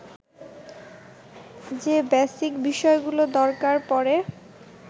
যে বেসিক বিষয়গুলো দরকার পড়ে